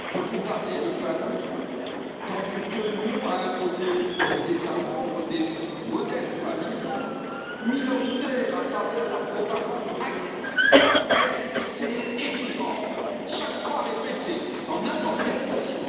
Peut on parler de famille quand nous tenons à imposer aux États membres des modèles familiaux minoritaires à travers la propagande agressive LGBT et du genre, chaque fois répétée, répétée et répétée dans n'importe quelle motion?